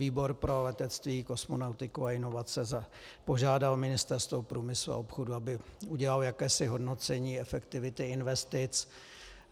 Podvýbor pro letectví, kosmonautiku a inovace požádal Ministerstvo průmyslu a obchodu, aby udělalo jakési hodnocení efektivity investic.